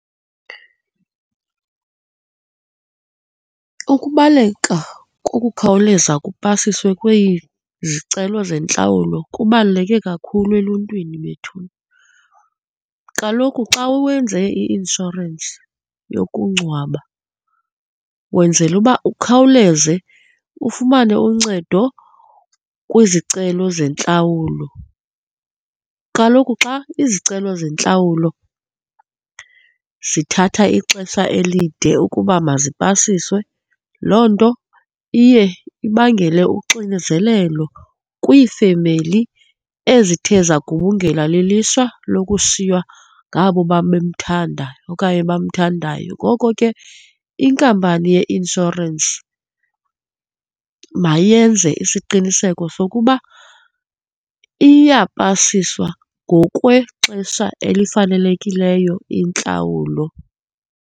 Ukubaleka kokukhawuleza kupasiswe kwizicelo zentlawulo kubaluleke kakhulu eluntwini bethuna. Kaloku xa wenze i-inshorensi yokungcwaba wenzela uba ukhawuleze ufumane uncedo kwizicelo zentlawulo. Kaloku xa izicelo zentlawulo zithatha ixesha elide ukuba mazipasiswe, loo nto iye ibangele uxinezelelo kwiifemeli ezithe zagubungelwa lilishwa lokushiywa ngabo babemthanda okanye bamthandayo. Ngoko ke, inkampani ye-inshorensi mayenze isiqiniseko sokuba iyapasiswa ngokwexesha elifanelekileyo intlawulo.